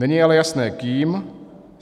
Není ale jasné kým.